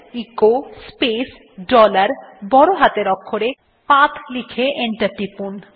echo space dollar বড় হাতের অক্ষরে p a t হ্ লিখুন এবং এন্টার টিপুন